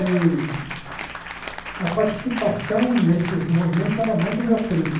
E a participação nesses movimentos era mais do meu primo.